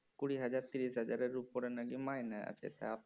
কুড়ি হাজার তিরিশ হাজারের ওপর নাকি মাইনে আছে তা